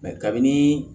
kabini